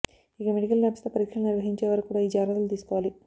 ఇక మెడికల్ ల్యాబ్స్లో పరీక్షలు నిర్వహించే వారు కూడా ఈ జాగ్రత్తలు తీసుకోవాలి